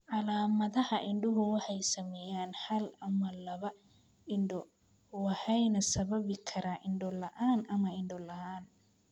Calaamadaha indhuhu waxay saameeyaan hal ama labada indhood waxayna sababi karaan indho la'aan ama indho la'aan.